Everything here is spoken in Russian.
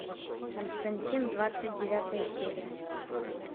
константин двадцать девятая серия